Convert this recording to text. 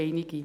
einige.